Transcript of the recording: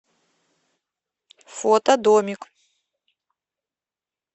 фото домик